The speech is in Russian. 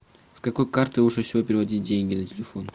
с какой карты лучше всего переводить деньги на телефон